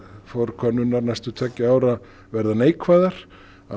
forkönnunar næstu tveggja ára verða neikvæðar